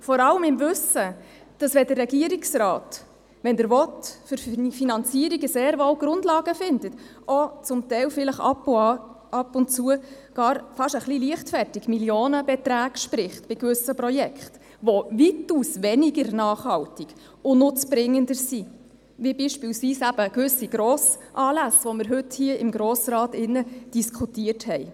Dies vor allem im Wissen darum, dass der Regierungsrat für Finanzierungen sehr wohl Grundlagen findet, wenn er will, und auch zum Teil vielleicht bei gewissen Projekten ab und zu fast ein bisschen leichtfertig Millionenbeträge spricht, die weitaus weniger nachhaltig und nutzbringend sind, wie beispielsweise eben gewisse Grossanlässe, die wir heute hier im Grossen Rat diskutiert haben.